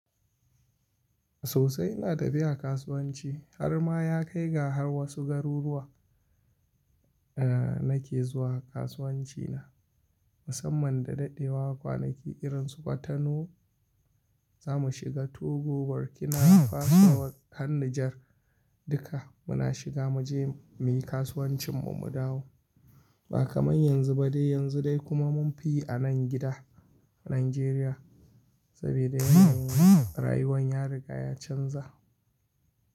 Sosai ina tafiya kasuwanci har ma ya kai ga har wasu garuruwa a nake zuwa kasuwanci na. Musamman da daɗewa kwanaki irin su kwatano zamu shiga Togo, Burkina, Faso, Har nijar duka muna shiga muje muyi kasuwancin mu, mu dawo. Ba kamar yanzu ba dai yanzu dai kuma mun fi anan gida Nijeriya saboda yanzu rayuwan ya riga ya canza.